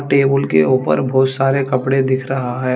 Table के ऊपर बहोत सारे कपड़े दिख रहा है।